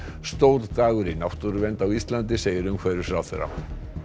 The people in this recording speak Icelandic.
stór dagur í náttúruvernd á Íslandi segir umhverfisráðherra